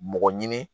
Mɔgɔ ɲini